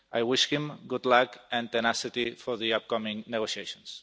I wish him good luck and tenacity for the upcoming negotiations.